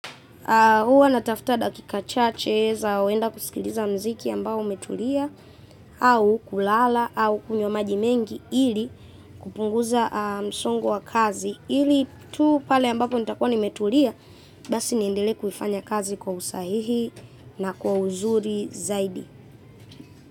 Huwa natafuta dakika chache za kuenda kusikiliza muziki ambao umetulia au kulala au kunywa maji mengi ili kupunguza msongo wa kazi ili tu pale ambapo nitakua nimetulia basi niendelee kufanya kazi kwa usahihi na kwa uzuri zaidi.